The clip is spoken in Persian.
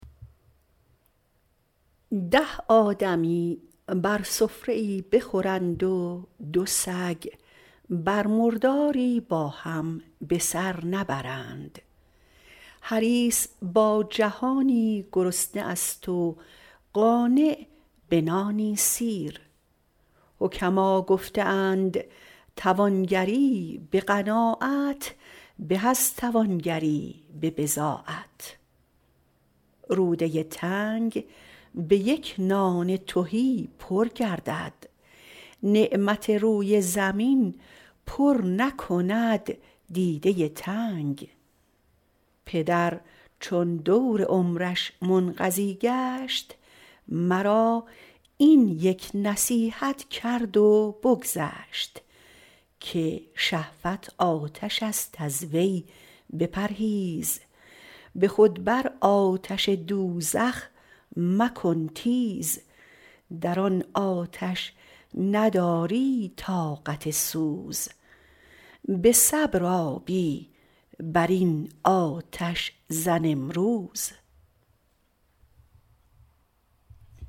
ده آدمی بر سفره ای بخورند و دو سگ بر مرداری با هم به سر نبرند حریص با جهانی گرسنه است و قانع به نانی سیر حکما گفته اند توانگری به قناعت به از توانگری به بضاعت روده تنگ به یک نان تهی پر گردد نعمت روی زمین پر نکند دیده تنگ پدر چون دور عمرش منقضی گشت مرا این یک نصیحت کرد و بگذشت که شهوت آتش است از وی بپرهیز به خود بر آتش دوزخ مکن تیز در آن آتش نداری طاقت سوز به صبر آبی بر این آتش زن امروز